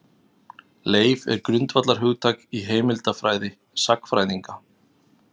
Leif er grundvallarhugtak í heimildafræði sagnfræðinga.